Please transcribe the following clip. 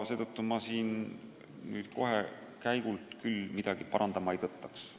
Seetõttu ma nüüd käigult küll midagi parandama ei tõttaks.